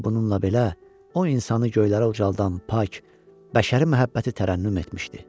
Amma bununla belə, o insanı göylərə ucaldan pak, bəşəri məhəbbəti tərənnüm etmişdi.